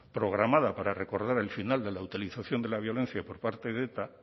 programada para recordar el final de la utilización de la violencia por parte de eta